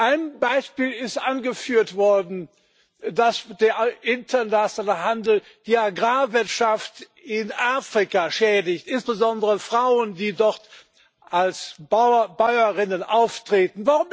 Ein Beispiel ist angeführt worden dass der internationale Handel die Agrarwirtschaft in Afrika schädigt, insbesondere Frauen, die dort als Bäuerinnen auftreten.